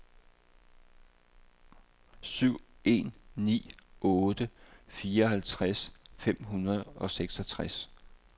syv en ni otte fireoghalvfjerds fem hundrede og seksogtres